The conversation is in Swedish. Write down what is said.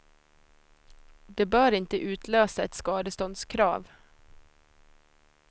Det bör inte utlösa ett skadeståndskrav.